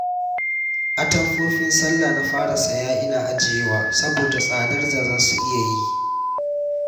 Atamfofin sallah na fara saya ina ajiyewa saboda tsadar da za su iya yi